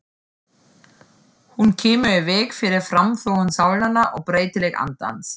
Hún kemur í veg fyrir framþróun sálnanna og breytileik andans.